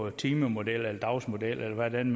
en timemodel eller dagsmodel eller hvad man